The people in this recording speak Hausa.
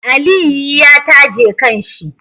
Aliyi ya taje kan shi